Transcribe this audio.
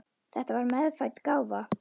Þetta var meðfædd gáfa.